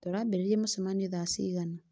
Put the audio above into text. Tũrambĩrĩria mũcemanio thaa cigana